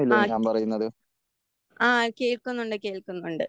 ആഹ്. ആഹ് കേൾക്കുന്നുണ്ട് കേൾക്കുന്നുണ്ട്